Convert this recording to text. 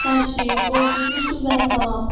Yox, əşi, qorxutmuşdu vəssalam.